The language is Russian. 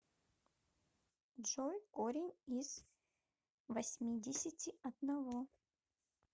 джой корень из восьмидесяти одного